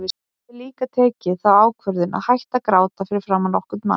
Ég hafði líka tekið þá ákvörðun að hætta að gráta fyrir framan nokkurn mann.